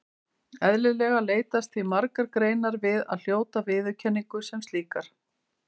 Eðlilega leitast því margar greinar við að hljóta viðurkenningu sem slíkar.